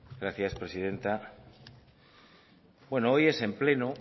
gracias presidenta bueno hoy es en pleno